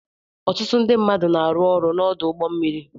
Ọtụtụ ndị mmadụ na-arụ ọrụ n'ọdụ ụgbọ mmiri.